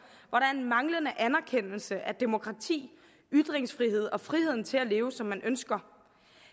hvor der er en manglende anerkendelse af demokrati ytringsfrihed og friheden til at leve som man ønsker